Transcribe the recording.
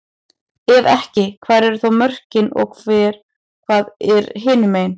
Ef ekki, hvar eru þá mörkin og hvað er hinumegin?